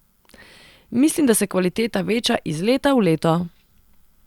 Mislim, da se kvaliteta veča iz leta v leto.